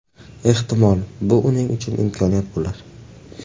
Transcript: Ehtimol, bu uning uchun imkoniyat bo‘lar.